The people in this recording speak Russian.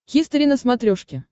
хистори на смотрешке